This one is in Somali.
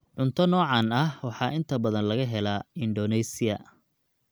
Cunto noocaan ah waxaa inta badan laga helaa Indonesia